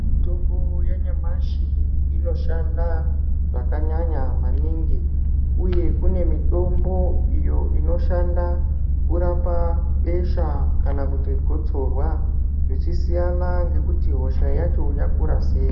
Mitombo yanyamashi inoshanda zvakanyanya maningi uye kune mitombo iyo inoshanda kurapa besha kana kuti gotsorwa zvichisiyana ngekuti hosha yacho yakura sei.